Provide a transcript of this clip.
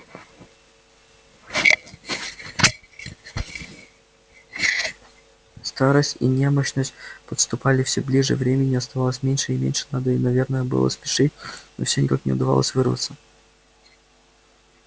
старость и немощность подступали всё ближе времени оставалось меньше и меньше надо наверное было спешить но всё никак не удавалось вырваться